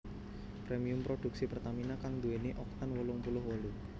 Premium produksi Pertamina kang nduwèni Oktan wolung puluh wolu